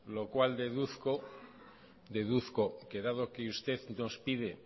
lo cual deduzco deduzco que dado que usted nos pide